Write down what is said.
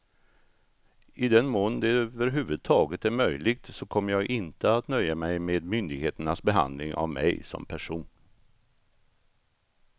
I den mån det över huvud taget är möjligt så kommer jag inte att nöja mig med myndigheternas behandling av mig som person.